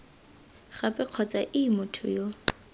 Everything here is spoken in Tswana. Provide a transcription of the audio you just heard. gape kgotsa ii motho yo